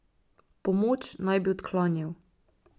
Pomoč naj bi odklanjal.